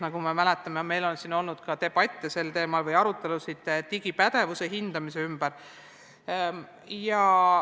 Nagu mäletame, on meil siin sel teemal olnud ka debatte ja peetud arutelusid digipädevuse hindamise üle.